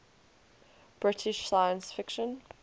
british science fiction